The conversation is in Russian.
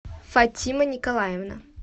фатима николаевна